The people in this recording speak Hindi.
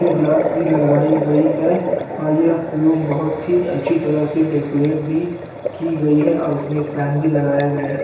ई ग्लास भी लगाई गई है और ये रूम बहोत ही अच्छी तरह से डेकोरेट भी की गयी है और उसमे एक फैन भी लगाया गया है।